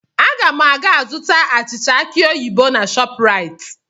Aga m ga-azụta achịcha aki oyibo na ShopRite.